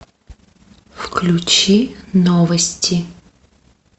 включи новости